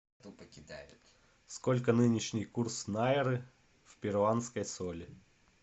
сколько нынешний курс найры в перуанской соли